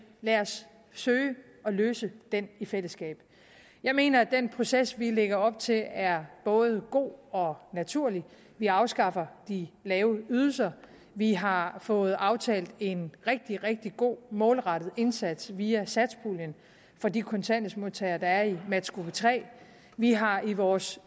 lad os søge at løse den i fællesskab jeg mener at den proces vi lægger op til er både god og naturlig vi afskaffer de lave ydelser vi har fået aftalt en rigtig rigtig god og målrettet indsats via satspuljen for de kontanthjælpsmodtagere der er i matchgruppe tre vi har i vores